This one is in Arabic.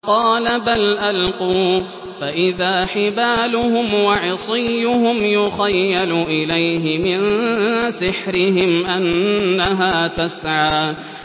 قَالَ بَلْ أَلْقُوا ۖ فَإِذَا حِبَالُهُمْ وَعِصِيُّهُمْ يُخَيَّلُ إِلَيْهِ مِن سِحْرِهِمْ أَنَّهَا تَسْعَىٰ